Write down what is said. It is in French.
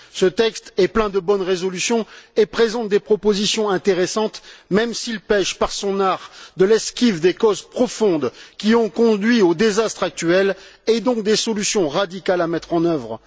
Ce texte est plein de bonnes résolutions et présente des propositions intéressantes, même s'il pêche par son art de l'esquive des causes profondes qui ont conduit au désastre actuel et donc des solutions radicales à mettre en œuvre.